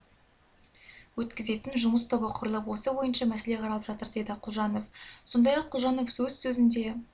өткізетін жұмыс тобы құрылып осы бойынша мәселе қаралып жатыр деді құлжанов сондай-ақ құлжанов өз сөзінде